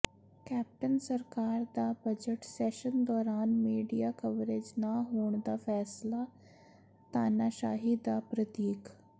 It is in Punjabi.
ਕੈਪਟਨ ਸਰਕਾਰ ਦਾ ਬਜਟ ਸੈਸ਼ਨ ਦੌਰਾਨ ਮੀਡੀਆ ਕਵਰੇਜ ਨਾ ਹੋਣ ਦਾ ਫੈਸਲਾ ਤਾਨਾਸ਼ਾਹੀ ਦਾ ਪ੍ਰਤੀਕ